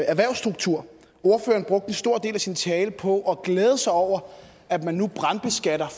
erhvervsstruktur ordføreren brugte en stor del af sin tale på at glæde sig over at man nu brandbeskatter